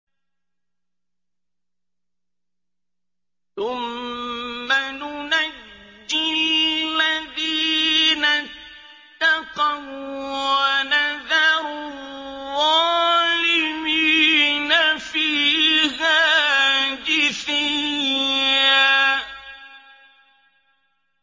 ثُمَّ نُنَجِّي الَّذِينَ اتَّقَوا وَّنَذَرُ الظَّالِمِينَ فِيهَا جِثِيًّا